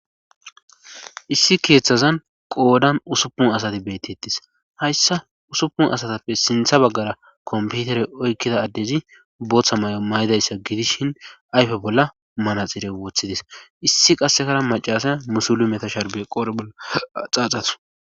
issi keeththazan qoodan usupun asati beettettis hayssa usupun asatappe sintha baggara komputere oykkida addezi booththa may7o may7idayssa gidishin ayfe bolla manaxire wooththidis issi qasekara macasay musulu meta sharbe qor bolla xaaxatu